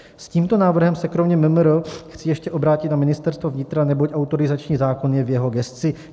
S tímto návrhem se kromě MMR chci ještě obrátit na Ministerstvo vnitra, neboť autorizační zákon je v jeho gesci.